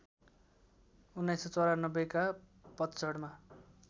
१९९४ का पतझडमा